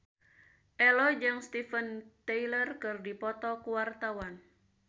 Ello jeung Steven Tyler keur dipoto ku wartawan